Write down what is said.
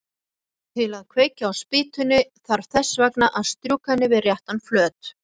Til að kveikja á spýtunni þarf þess vegna að strjúka henni við réttan flöt.